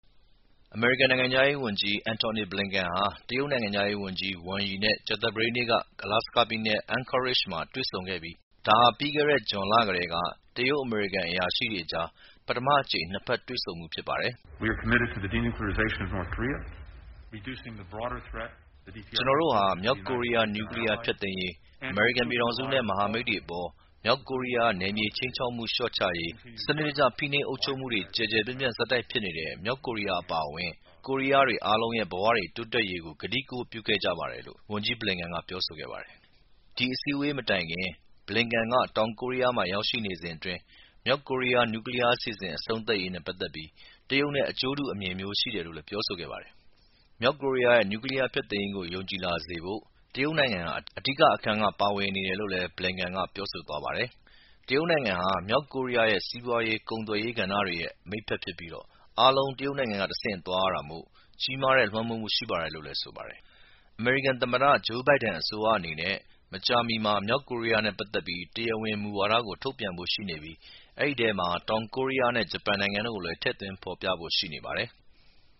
အမေရိကန်နိုင်ငံခြားရေးဝန်ကြီး Antony Blinken ဟာ တရုတ်နိုင်ငံခြားရေးဝန်ကြီး Wang Yi နဲ့ကြာသပတေးနေ့က Alaska ပြည်နယ် Anchorage မှာ တွေ့ဆုံခဲ့ပြီး ဒါဟာ ပြီးခဲ့တဲ့ ဂျွန်လကတည်းက တရုတ်-အမေရိကန် အရာရှိတွေအကြား ပထမအကြိမ် နှစ်ဘက်တွေ့ဆုံမှုဖြစ်ပါတယ်။ “ကျနော်တို့ဟာ မြောက်ကိုရီးယား နျူကလီးယားဖျက်သိမ်းရေး၊ အမေရိကန်ပြည်ထောင်စု နဲ့မဟာမိတ်တွေအပေါ် မြောက်ကိုရီးယားရဲ့ နယ်မြေခြိမ်းခြောက်မှု လျှော့ချရေး၊ စနစ်တကျ ဖိနှိပ်အုပ်ချုပ်မှုတွေ ကျယ်ကျယ်ပြန့်ပြန့်ဆက်တိုက်ဖြစ်နေတဲ့ မြောက်ကိုရီယားအပါအဝင် ကိုရီးယားတွေအားလုံးရဲ့ ဘဝတွေ တိုးတက်ရေး ကို ကတိကဝတ်ပြုခဲ့ကြပါတယ်” ဒီအစည်းအဝေးမတိုင်ခင် Blinken တောင်ကိုရီးယားမှာ ရောက်ရှိနေစဉ်အတွင်း မြောက်ကိုရီးယား နျူကလီးယားအစီအစဉ် အဆုံးသက်ရေးနဲ့ပတ်သက်ပြီး တရုတ်နဲ့အကျိူးတူ အမြင်မျိူး ရှိတယ်လို့ပြောဆိုခဲ့ပါတယ်။ မြောက်ကိုရီးယားရဲ့ နျူကလီးယားဖျက်သိမ်းရေးကို ယုံကြည်လာစေဖို့ တရုတ်နိုင်ငံဟာ အဓိက အခန်းကဏ္ဍက ပါဝင်နေတယ်လို့လည်း Blinken က ပြောဆိုသွားပါတယ်။ တရုတ်နိုင်ငံဟာ မြောက်ကိုရီးယား စီးပွားရေး၊ ကုန်သွယ်ရေး ကဏ္ဍအားလုံးရဲ့ မိတ်ဖက်လည်းဖြစ်ပြီး အားလုံး တရုတ်နိုင်ငံက တဆင့် သွားရတာမို့ကြီးမားတဲ့ လွှမ်းမိုးမှုရှိပါတယ်လို့လည်းဆိုပါတယ်။ အမေရိကန်သမ္မတ ဂျိူးဘိုင်ဒန်အစိုးရအနေနဲ့မကြာမီမှာ မြောက်ကိုရီးယားနဲ့ပက်သက်ပြီး တရားဝင်မူဝါဒကို ထုတ်ပြန်ဖို့ရှိပြီး အဲဒီထဲမှာ တောင်ကိုးရီးယားနဲ့ဂျပန်နိုင်ငံတို့ကို လည်း ထည့်သွင်းဖော်ပြဖို့ရှိနေပါတယ်။